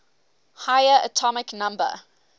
higher atomic number